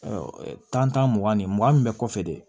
tan tan mugan ni mugan min bɛ kɔfɛ de